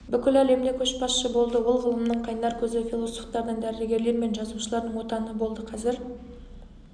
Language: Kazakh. бүкіл әлемде көшбасшы болды ол ғылымның қайнар көзі философтардың дәрігерлер мен жазушылардың отаны болды қазір